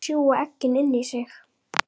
Þær sjúga eggin inn í sig.